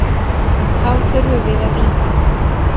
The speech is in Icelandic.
Þá þurftum við að rýma.